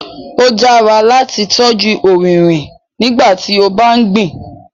Ó dára láti tọ́jú ọrinrin nígbàtí o bá gbìn